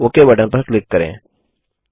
okay button पर click करें